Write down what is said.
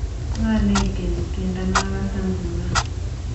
Ngo neityeni tyendo nagase nguno?